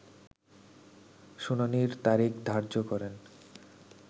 শুনানির তারিখ ধার্য করেন